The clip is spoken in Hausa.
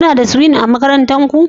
Kuna da Swing a makarantar ku?